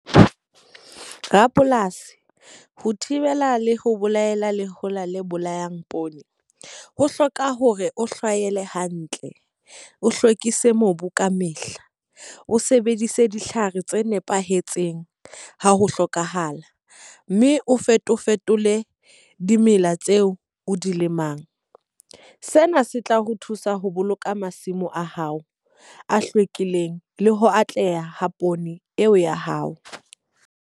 Rapolasi, ho thibela le ho bolaela lehola le bolayang poone. Ho hloka hore o hlahele hantle, o hlwekise mobu ka mehla, o sebedise ditlhare tse nepahetseng ha ho hlokahala. Mme o fetole fetole dimela tseo o di lemang. Sena se tla ho thusa ho boloka masimo a hao, a hlwekileng, le ho atleha poone eo ya hao.